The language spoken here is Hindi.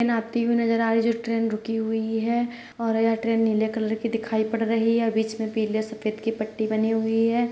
ट्रेन आती हुई नजर आ रही है जो ट्रेन रुकी हुई है और यह ट्रेन नीले कलर की दिखाई पड़ रही है और बीच में पीले-सफेद की पट्टी बनी हुई है।